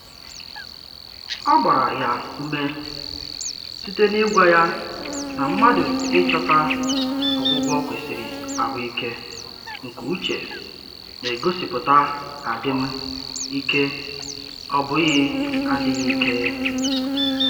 Ọ gbara ya ume site na-ịgwa ya na mmadụ ịchọta ọgwụgwọ kwesịrị ahụike nke uche na-egosipụta adịm ike ọ bụghị adịghị ike